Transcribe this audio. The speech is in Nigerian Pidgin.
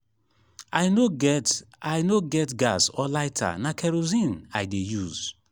i no get i no get gas or lighter na kerosene i dey use